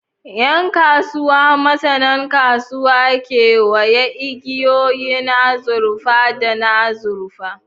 Yan kasuwa, masanan kasuwa, kewaya igiyoyin azurfa da na azurfa.